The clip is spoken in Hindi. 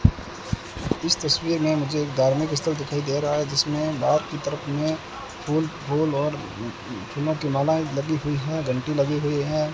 इस तस्वीर में मुझे एक धार्मिक स्थल दिखाई दे रहा है जिसमें बाहर की तरफ में फूल फूल और फूलों की मालाएं लगी हुई हैं घंटी लगी हुई है।